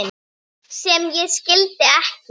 sem ég skildi ekki